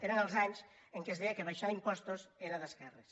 eren els anys en què es deia que abaixar impostos era d’esquerres